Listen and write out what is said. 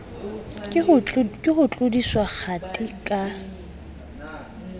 ke ho tlodiswa kgathi ka